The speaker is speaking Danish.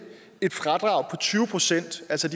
et fradrag på tyve procent altså